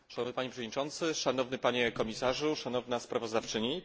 Szanowny panie przewodniczący, szanowny panie komisarzu, szanowna sprawozdawczymi!